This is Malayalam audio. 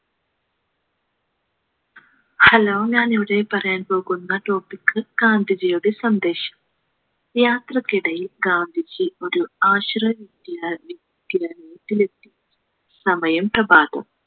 hello ഞാൻ ഇവിടെ പറയാൻ പോകുന്ന topic ഗാന്ധിജിയുടെ സന്ദേശം യാത്രയ്ക്കിടയിൽ ഗാന്ധിജി ഒരു ആശ്രമവിദ്യാലയ ത്തിലെത്തി സമയം പ്രഭാതം